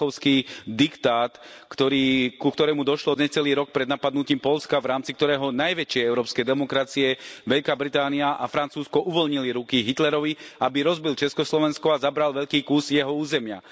Mníchovský diktát, ku ktorému došlo necelý rok pred napadnutím Poľska, v rámci ktorého najväčšie európske demokracie Veľká Británia a Francúzsko uvoľnili ruky Hitlerovi, aby rozbil Československo a zabral veľký kus jeho územia.